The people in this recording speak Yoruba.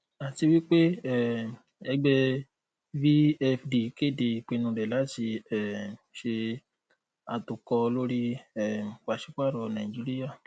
àtiwípé um ẹgbẹ vfd kéde ìpinnu rẹ láti um ṣe àtòkọ lóri um pàṣípààrọ nàìjíríà